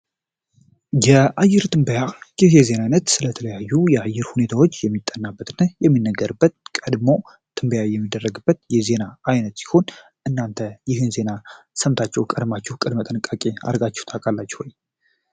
የአየር ትንበያ የዜና አይነት ስለተለያዩ የአየር ሁኔታዎች የሚጠናበትነ የሚነገርበት ቀድሞ ትንበያ የሚደረግበት የዜና ዓይነት ሲሆን እናንተ ይህን ዜና ሰምታቸው ቀድማችሁ ቀድመ ጠንቃቄ አርጋችሁ ታቃላች ውይ?